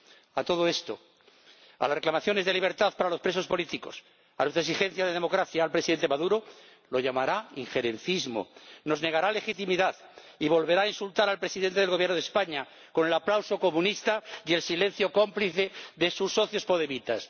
A todo esto, a las reclamaciones de libertad para los presos políticos, a las exigencias de democracia, el Presidente Maduro lo llamará injerencismo, nos negará legitimidad y volverá a insultar al Presidente del Gobierno de España, con el aplauso comunista y el silencio cómplice de sus socios podemitas.